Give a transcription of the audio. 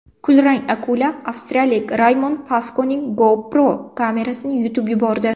Kulrang akula avstraliyalik Raymond Paskoning GoPro kamerasini yutib yubordi.